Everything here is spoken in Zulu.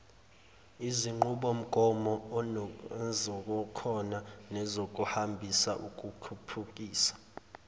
izinqubomgomoezikhona nezinkambiso ukukhuphukisa